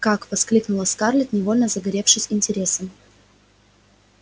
как воскликнула скарлетт невольно загоревшись интересом